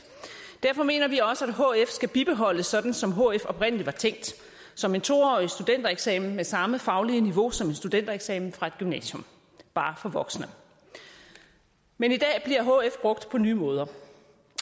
derfor mener vi også at hf skal bibeholdes sådan som hf oprindelig var tænkt som en to årig studentereksamen med samme faglige niveau som en studentereksamen fra et gymnasium bare for voksne men i dag bliver hf brugt på nye måder